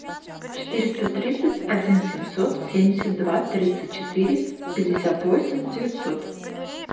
четыреста тридцать один семьсот семьдесят два тридцать четыре пятьдесят восемь девятьсот